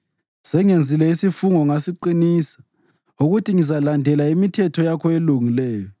Sengenzile isifungo ngasiqinisa, ukuthi ngizalandela imithetho yakho elungileyo.